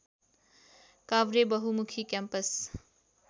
Kavre Bahumukhi campus